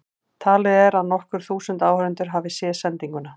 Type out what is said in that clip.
Talið er að nokkur þúsund áhorfendur hafi séð sendinguna.